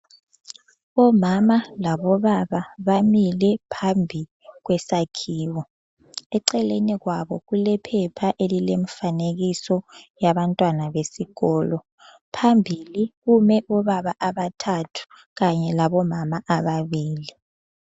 Omama labobaba bamile phambi kwesakhiwo. Eceleni kwabo kulephepha elilemfanekiso yabantwana besikolo phambili kume obaba abathathu kanye labomama ababili.